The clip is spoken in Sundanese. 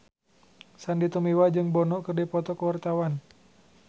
Sandy Tumiwa jeung Bono keur dipoto ku wartawan